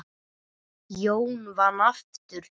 Jón vann aftur.